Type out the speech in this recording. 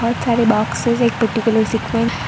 बहोत सारे बॉक्स है ।